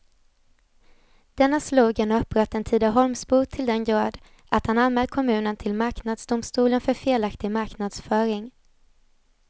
Denna slogan har upprört en tidaholmsbo till den grad att han anmält kommunen till marknadsdomstolen för felaktig marknadsföring.